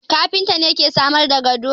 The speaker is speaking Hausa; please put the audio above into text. Kafinta ne ke samar da gado